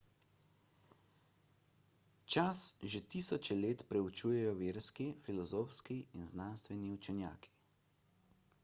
čas že tisoče let preučujejo verski filozofski in znanstveni učenjaki